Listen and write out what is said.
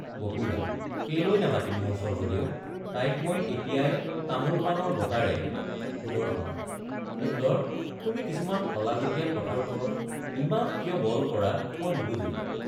বপুৰা—কেলৈ নামাতিম মোৰ স্বৰ্গদেৱ—তাইক মই এতিয়াই তামোলপানৰ বটাৰে— সুদৰ্শন—সুন্দৰ তুমি কিছুমান আলগতিয়াল কথাৰ ওপৰত ইমান কিয় বল কৰা মই নুবুজো।